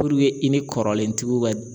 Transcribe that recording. Puruke i ni kɔrɔlentigiw ka